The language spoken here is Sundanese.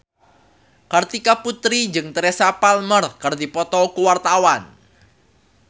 Kartika Putri jeung Teresa Palmer keur dipoto ku wartawan